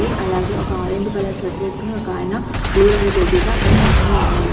అలాగే ఒక orange colour shirt వేసుకొని ఒకాయన బ్లూ రంగు టోపీతో అక్కడ నించుని ఉన్నాడు.